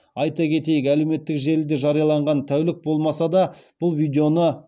айта кетейік әлеуметтік желіде жарияланғанына тәулік болмаса да бұл видеоны